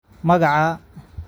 Magacaa